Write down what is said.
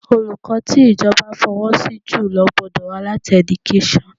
Olùkọ́ tí ìjọba fọwọ́ sí jùlọ gbọ́dọ̀ wá láti Education